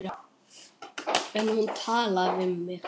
En hún talaði við mig.